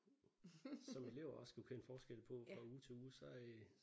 Som elever også skulle kende forskel på fra uge til uge så øh